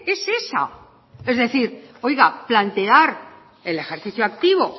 es esa es decir oiga plantear el ejercicio activo